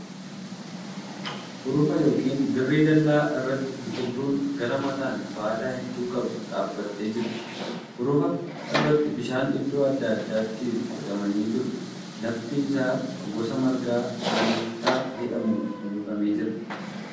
Hurufa yookiin dirree ballaa irratti biqiltuun gara mataan baala hedduu qabdu dhaabattee jirti. Hurufa irratti bishaan iddoo adda addaatti qocamanii jiru. Lafti isaa gosa margaa aarrittaa jedhamuun uuwwifamee jira .